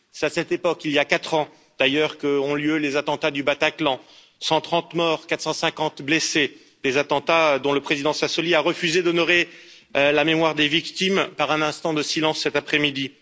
C'est à cette époque, il y a quatre ans d'ailleurs, qu'ont lieu les attentats du Bataclan 130 morts, 450 blessés. Les attentats, dont le Président Sassoli a refusé d'honorer la mémoire des victimes par un instant de silence cet après midi